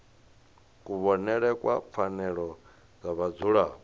kuvhonele kwa pfanelo dza vhadzulapo